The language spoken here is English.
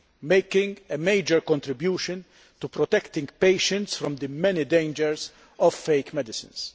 making a major contribution to protecting patients from the many dangers of fake medicines.